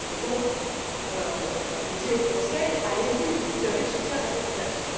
Donc, je dis au Conseil Allez y, vous avez le soutien de la population.